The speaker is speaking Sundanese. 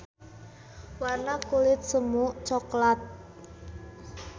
Warna kulit semu coklat.